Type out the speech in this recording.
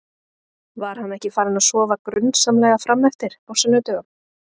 Var hann ekki farinn að sofa grunsamlega fram eftir á sunnudögum?